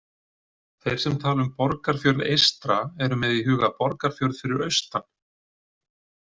Þeir sem tala um Borgarfjörð eystra eru með í huga Borgarfjörð fyrir austan.